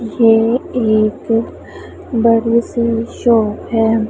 ये एक बड़ी सी शॉप है।